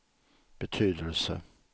betydelse